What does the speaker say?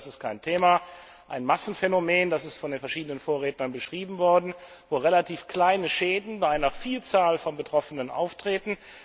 Es gibt das ist kein Thema ein Massenphänomen, das ist von verschiedenen Vorrednern beschrieben worden, wo relativ kleine Schäden bei einer Vielzahl von Betroffenen auftreten.